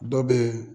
Dɔ bɛ ye